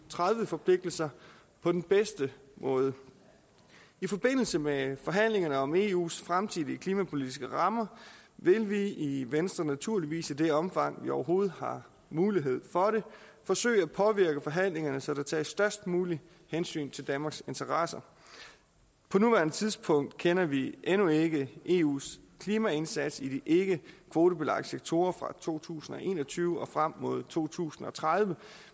og tredive forpligtelser på den bedste måde i forbindelse med forhandlingerne om eus fremtidige klimapolitiske rammer vil vi i venstre naturligvis i det omfang vi overhovedet har mulighed for det forsøge at påvirke forhandlingerne så der tages størst muligt hensyn til danmarks interesser på nuværende tidspunkt kender vi endnu ikke eus klimaindsats i de ikkekvotebelagte sektorer fra to tusind og en og tyve og frem mod to tusind og tredive